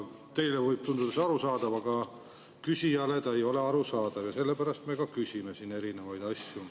Teile võib tunduda see arusaadav, aga küsijale see ei ole arusaadav ja sellepärast me küsime siin erinevaid asju.